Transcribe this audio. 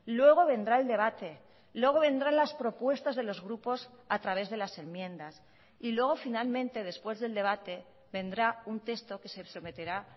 luego vendrá el debate luego vendrá las propuestas de los grupos a través de las enmiendas y luego finalmente después del debate vendrá un texto que se someterá